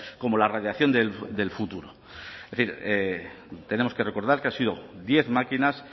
como la radiación del futuro tenemos que recordar que han sido diez máquinas